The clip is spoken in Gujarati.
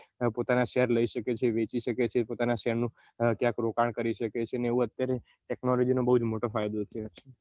પોતાના શેર લઇ શકે છે વેચી શકે છે પોતાના શેર નું ક્યાંક રોકાણ કરી શકે છે એવું અત્યારે technology નો બઉ મોટો ફાયદો છે